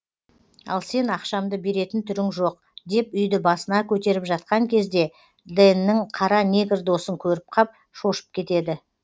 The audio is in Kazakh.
ал сен ақшамды беретін түрің жоқ деп үйді басына көтеріп жатқан кезде дэннің қара негр досын көріп қап шошып кетеді